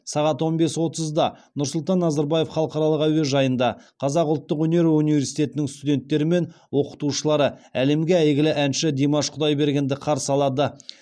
сағат он бес отызда нұрсұлтан назарбаев халықаралық әуежайында қазақ ұлттық өнер университетінің студенттері мен оқытушылары әлемге әйгілі әнші димаш құдайбергенді қарсы алады